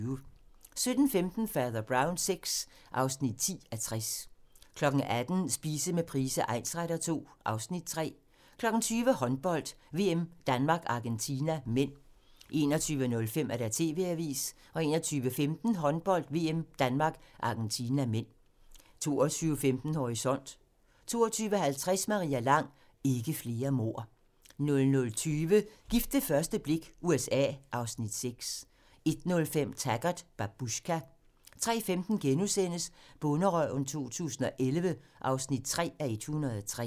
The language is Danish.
17:15: Fader Brown VI (10:60) 18:00: Spise med Price egnsretter II (Afs. 3) 20:00: Håndbold: VM - Danmark-Argentina (m) 21:05: TV-avisen 21:15: Håndbold: VM - Danmark-Argentina (m) 22:15: Horisont 22:50: Maria Lang: Ikke flere mord 00:20: Gift ved første blik - USA (Afs. 6) 01:05: Taggart: Babushka 03:15: Bonderøven 2011 (3:103)*